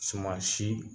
Suma si